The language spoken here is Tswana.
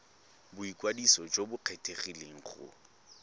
boikwadiso jo bo kgethegileng go